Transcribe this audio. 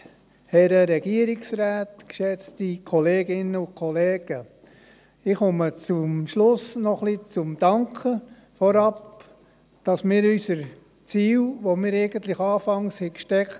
der SiK. Ich komme zum Schluss noch zum Danken, dafür, dass wir unsere Ziele, die wir uns anfangs gesteckt hatten, zu grossen Teilen so umsetzen konnten.